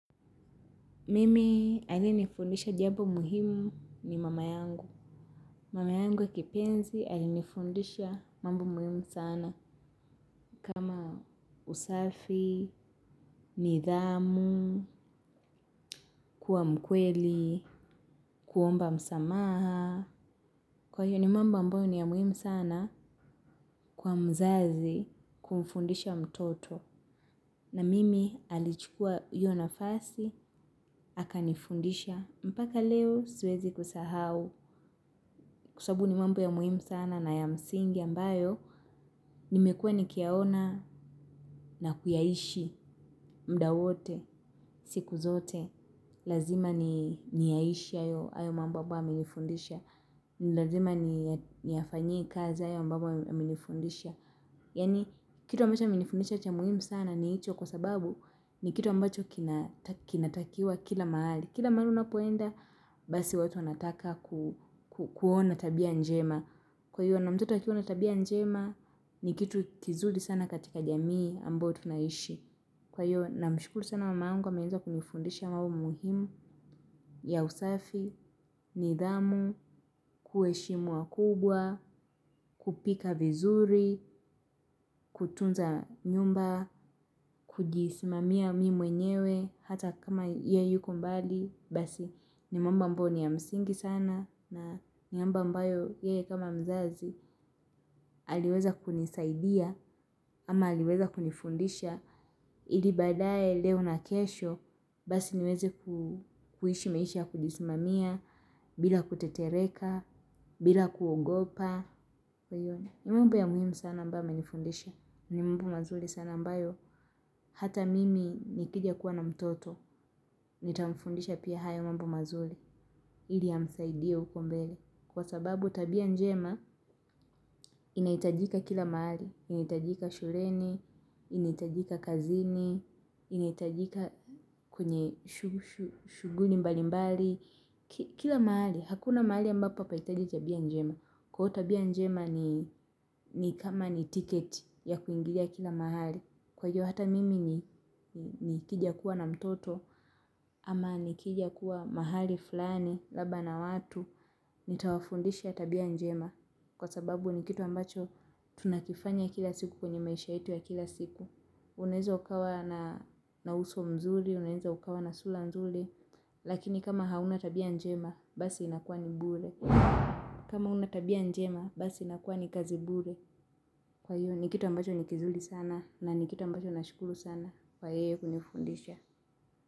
Mimi aliyenifundisha jambo muhimu ni mama yangu. Mama yangu ya kipenzi alinifundisha mambo muhimu sana. Kama usafi, nidhamu, kuwa mkweli, kuomba msamaha. Kwa hiyo ni mambo ambayo ni ya muhimu sana kwa mzazi kumfundisha mtoto. Na mimi alichukua hiyo nafasi, akanifundisha. Mpaka leo siwezi kusahau, kwa sababu ni mambo ya muhimu sana na ya msingi ambayo, nimekuwa nikiyaona na kuyaishi muda wote, siku zote, lazima niyaishi hayo mambo ambayo amenifundisha, ni lazima niyafanyie kazi hayo ambayo amenifundisha. Yaani, kitu ambacho amenifundisha cha muhimu sana ni hicho kwa sababu ni kitu ambacho kinatakiwa kila mahali. Kila mahali unapoenda, basi watu wanataka kuona tabia njema. Kwa hiyo, na mtoto akiwa na tabia njema, ni kitu kizuri sana katika jamii ambayo tunaishi. Kwa hiyo namshukuru sana mamangu ameweza kunifundisha mambo muhimu ya usafi, nidhamu, kuheshimu wakubwa, kupika vizuri, kutunza nyumba, kujisimamia mi mwenyewe, hata kama ye yuko mbali, basi ni mambo ambayo ni ya msingi sana, na ni mambo ambayo ye kama mzazi, aliweza kunisaidia, ama aliweza kunifundisha, ili baadaye leo na kesho, basi niweze kuishi maisha ya kujisimamia, bila kutetereka, bila kuogopa. Ni mambo ya muhimu sana ambayo amenifundisha. Ni mambo mazuri sana ambayo. Hata mimi nikija kuwa na mtoto. Nitamfundisha pia hayo mambo mazuri. Ili yamsaidie huko mbele. Kwa sababu tabia njema, inahitajika kila mahali. Inahitajika shuleni, inahitajika kazini, inahitajika kwenye shughuli mbalimbali. Kila mahali, hakuna mahali ambapo hapahitaji tabia njema. Kwa hivyo tabia njema ni kama ni tiketi ya kuingilia kila mahali. Kwa hiyo hata mimi nikija kuwa na mtoto ama nikija kuwa mahali fulani, labda na watu. Nitawafundisha tabia njema kwa sababu ni kitu ambacho tunakifanya kila siku kwenye maisha yetu ya kila siku. Unaeza ukawa na na uso mzuri, unaeza ukawa na sura nzuri. Lakini kama hauna tabia njema basi inakuwa ni bure. Kama huna tabia njema basi inakuwa ni kazi bure. Kwa hiyo ni kitu ambacho ni kizuri sana na ni kitu ambacho nashukuru sana. Kwa yeye kunifundisha.